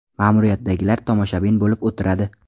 Ma’muriyatdagilar tomoshabin bo‘lib o‘tiradi.